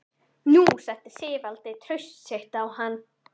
Nú setti Sigvaldi traust sitt á hann.